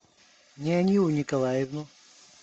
неонилу николаевну